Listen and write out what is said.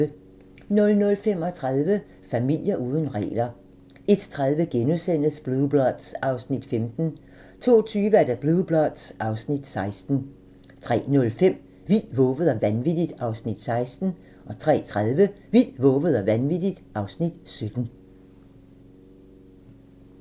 00:35: Familier uden regler 01:30: Blue Bloods (Afs. 15)* 02:20: Blue Bloods (Afs. 16) 03:05: Vildt, vovet og vanvittigt (Afs. 16) 03:30: Vildt, vovet og vanvittigt (Afs. 17)